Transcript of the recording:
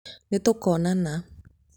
nĩtũkonana